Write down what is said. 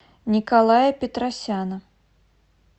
николая петросяна